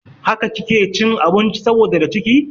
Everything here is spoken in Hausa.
Haka kike cin abinci saboda da ciki?